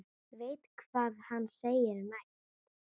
Veit hvað hann segir næst.